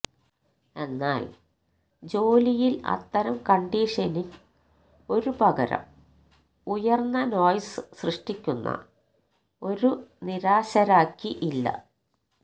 എന്നാൽ ജോലിയിൽ അത്തരം കണ്ടീഷനിംഗ് ഒരു പകരം ഉയർന്ന നോയിസ് സൃഷ്ടിക്കുന്ന ഒരു നിരാശരാക്കി ഇല്ല